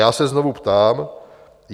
Já se znovu ptám: